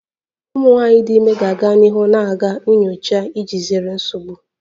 Ụmụ nwanyị dị ime ga-aga n'ihu na-aga nyocha iji zere nsogbu